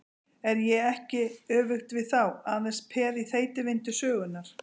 Er ég ekki, öfugt við þá, aðeins peð í þeytivindu sögunnar?